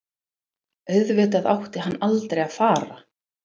Auðvitað átti hann aldrei að fara.